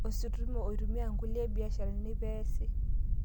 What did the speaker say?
Ositima eitumia nkulie biasharani pee eesi